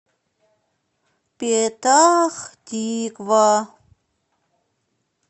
петах тиква